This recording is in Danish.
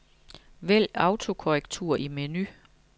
Vælg autokorrektur i menu.